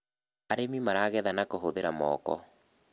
arĩmi maragetha na kuhuthira moko